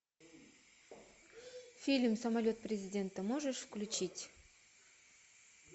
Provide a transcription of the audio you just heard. фильм самолет президента можешь включить